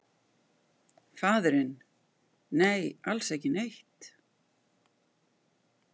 Faðirinn: Nei, alls ekki neitt.